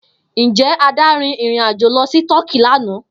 Njẹ Ada rin irin-ajo lọ si Tọki lana?